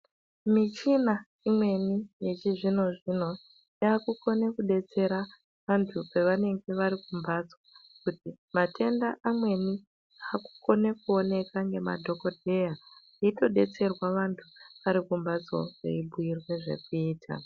Michina imweni yechizvino-zvino yaakukona kudetsera anthu pevanenge vari kumphatso, kuti matenda amweni akukone kuoneka ngemadhokodheya eitodetserwa vanthu vari kumphatso veibhuirwa zvekuita.